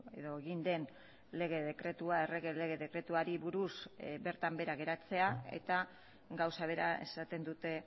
edo egin den lege dekretua errege lege dekretuari buruz bertan bera geratzea eta gauza bera esaten dute